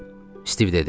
Stiv dedi.